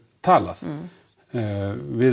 talað við